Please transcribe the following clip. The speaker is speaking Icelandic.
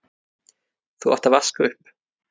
þú átt að vaska upp.